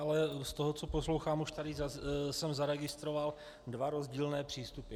Ale z toho, co poslouchám, už tady jsem zaregistroval dva rozdílné přístupy.